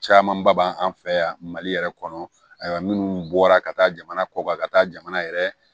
Camanba b'an fɛ yan mali yɛrɛ kɔnɔ ayiwa minnu bɔra ka taa jamana kɔkan ka taa jamana yɛrɛ